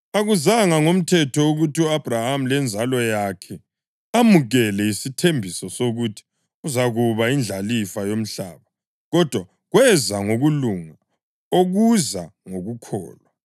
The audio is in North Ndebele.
Akuzanga ngomthetho ukuthi u-Abhrahama lenzalo yakhe amukele isithembiso sokuthi uzakuba yindlalifa yomhlaba, kodwa kweza ngokulunga okuza ngokukholwa.